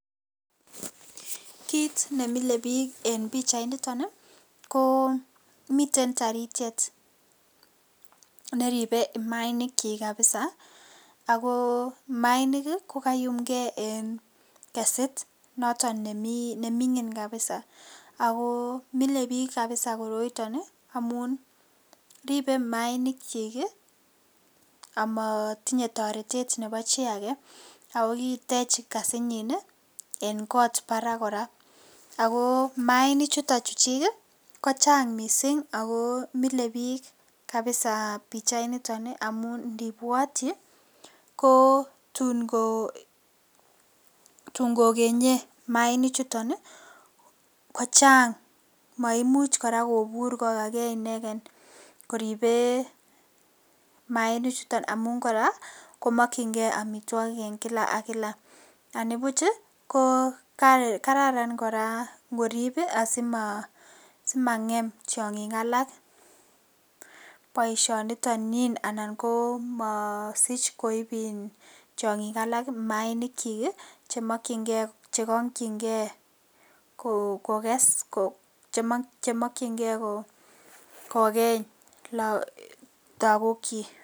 Kit nemile bik en pichainiton ii koo miten taritiet neribee imaainikchik kabisa, ako maainik ko kayumngee en kesit noton nemingin kabisa, ako mile bik kabisa koroiton ii amotinye toretet nebo chi akee ako kitech kesinyin en kot barak koraa ako maainichuton chuchik ii kochang missing' ako mile bik kabisa pichainiton ii amun indibwotchi ii kotun, tun kogenyee maainichuton ii kochang maimuch koraa kobur kokaa kee ineken koribee maainichuton amun koraa komokchingee omitwogik en kila ak kila, nibuch ii ko Kararan ngorib ii asimangem tiongik alak boishoniton nyin anan komosich koib iin tiongik alak maainikchik ii chemokyingee, chekongchingee kokes , chemokyingee kogeny lagokchik